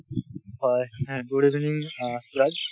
হয় হ good evening অ সুৰজ